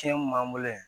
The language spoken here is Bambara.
Tiɲɛ kun b'an bolo yan